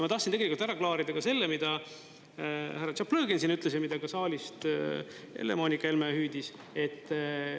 Ma tahtsin tegelikult ära klaarida ka selle, mida härra Tšaplõgin siin ütles ja mida saalist Helle- Moonika Helme hüüdis.